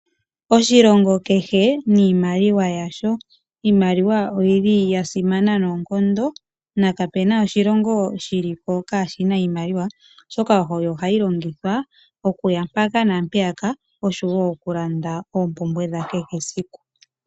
Oshilongo kehe niimaliwa yasho. Iimaliwa oya simana noonkondo kapena oshilongo kashina iimaliwa oshoka ohayi longithwa okuya mpaka naampeyaka oshowo ohayi longithwa okulanda oompumbwe dha kehe esiku.